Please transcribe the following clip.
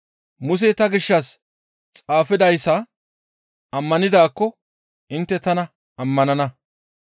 Musey ta gishshas xaafidayssa ammanidaakko intte tana ammanana.